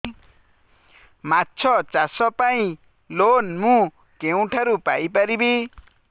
ମାଛ ଚାଷ ପାଇଁ ଲୋନ୍ ମୁଁ କେଉଁଠାରୁ ପାଇପାରିବି